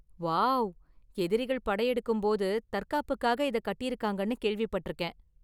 Wow, எதிரிகள் படையெடுக்கும் போது தற்காப்புக்காக இத கட்டியிருக்காங்கன்னு கேள்விபட்டிருக்கேன்.